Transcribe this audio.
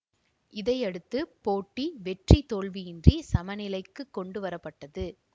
இதனையடுத்து போட்டி வெற்றி தோல்வியின்றி சமநிலைக்கு கொண்டுவர பட்டது